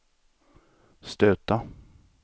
stöta